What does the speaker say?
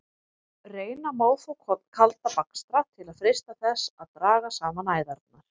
Reyna má þó kalda bakstra til að freista þess að draga saman æðarnar.